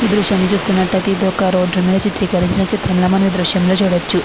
ఈ దృశ్యాన్ని చూస్తునట్లతే ఇది ఒక్క రోడ్డు మీద చిత్రీకరించిన చిత్రంలా మనమీ దృశ్యంలో చూడచ్చు.